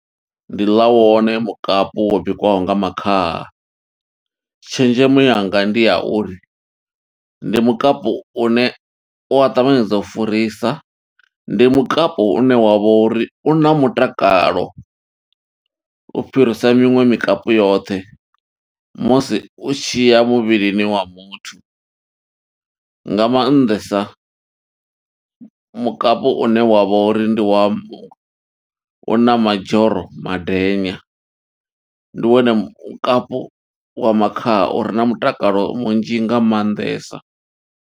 Ndi ḽa wone mukapi wo bikiwaho nga makhaha. Tshenzhemo yanga ndi ya uri, ndi mukapu une u a ṱavhanyedzisa u furisa, ndi mukapu une wa vha uri u na mutakalo. U fhirisa miṅwe mikapu yoṱhe, musi u tshi ya muvhilini wa muthu. Nga maanḓesa mukapu une wa vha uri ndi wa, u na madzhoro madenya, ndi wone mukapu wa makhaha ure na mutakalo munzhi nga maanḓesa.